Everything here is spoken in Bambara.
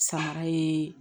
Samara ye